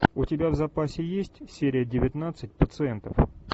у тебя в запасе есть серия девятнадцать пациентов